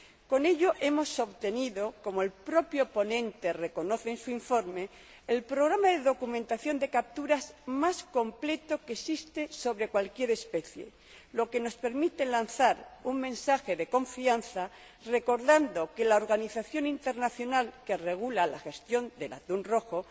Con ello hemos obtenido, como el propio ponente reconoce en su informe, el programa de documentación de capturas más completo que existe sobre cualquier especie, lo que nos permite lanzar un mensaje de confianza, recordando que la organización internacional que regula la gestión del atún rojo